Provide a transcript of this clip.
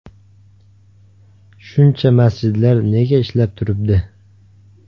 Shuncha masjidlar nega ishlab turibdi?